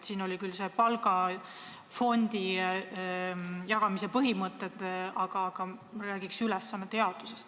Siin olid küll olemas palgafondi jagamise põhimõtted, aga räägiks ülesannete jaotusest.